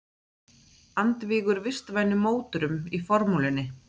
Andvígur vistvænum mótorum í formúlunni